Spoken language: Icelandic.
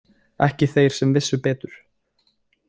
Ekki þeir sem vissu betur.